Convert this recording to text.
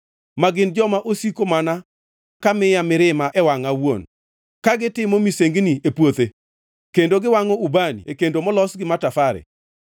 ma gin joma osiko mana ka miya mirima e wangʼa awuon, ka gitimo misengini e puothe, kendo giwangʼo ubani e kendo molos gi matafare;